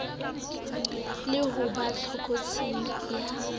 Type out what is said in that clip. le ho ba tlokotsing ya